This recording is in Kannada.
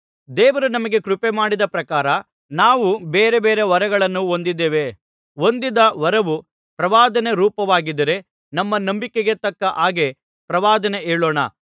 ದೇವರು ನಮಗೆ ಕೃಪೆಮಾಡಿದ ಪ್ರಕಾರ ನಾವು ಬೇರೆ ಬೇರೆ ವರಗಳನ್ನು ಹೊಂದಿದ್ದೇವೆ ಹೊಂದಿದ ವರವು ಪ್ರವಾದನೆ ರೂಪವಾಗಿದ್ದರೆ ನಮ್ಮ ನಂಬಿಕೆಗೆ ತಕ್ಕ ಹಾಗೆ ಪ್ರವಾದನೆ ಹೇಳೋಣ